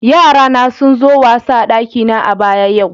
Yara na sun zo wasa a'dakina a'baya yau.